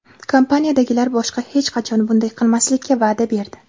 Kompaniyadagilar boshqa hech qachon bunday qilmaslikka va’da berdi.